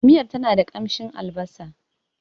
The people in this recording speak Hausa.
Miyar tana da kamshin albasa.